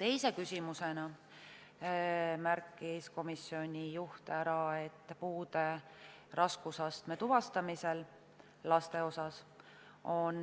Teise küsimusena märkis komisjoni juht ära, et puude raskusastme tuvastamisel laste puhul on